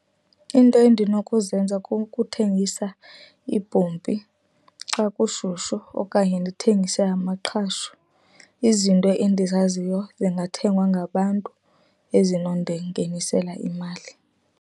Into endinokuzenza kukuthengisa iibhompi xa kushushu okanye ndithengise amaqhashu. Izinto endizaziyo zingathengwa ngabantu, ezinondingenisela imali.